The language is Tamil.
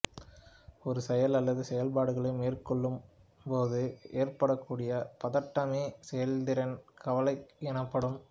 ஒரு செயல் அல்லது செயல்பாடுகளை மேற்கொள்ளும்போது ஏற்படக்கூடிய பதட்டமே செயல்திறன் கவலை எனப்படும்